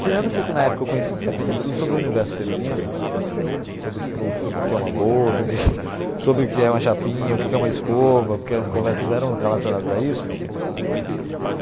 Tirando que na época eu conheci aprendi tudo sobre o universo feminino, sobre o que que o o que que é uma bolsa, sobre o que é uma chapinha, o que que é uma escova, porque as conversas eram relacionadas a isso.